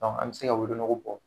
an bɛ se ka wolonogo bɔ.